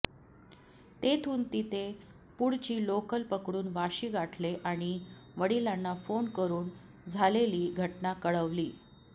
तेथून तिने पुढची लोकल पकडून वाशी गाठले आणि वडिलांना फोन करून झालेली घटना कळवली